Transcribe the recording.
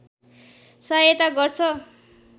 सहायता गर्छ